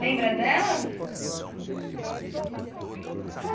Lembra delas?